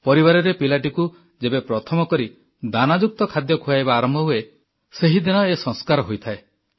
ପରିବାରରେ ପିଲାଟିକୁ ଯେବେ ପ୍ରଥମକରି ଦାନାଯୁକ୍ତ ଖାଦ୍ୟ ଖୁଆଇବା ଆରମ୍ଭ ହୁଏ ସେହିଦିନ ଏ ସଂସ୍କାର ହୋଇଥାଏ